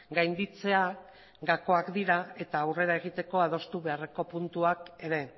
gainditzea gakoak dira eta aurrera egiteko adostu beharreko puntuak ere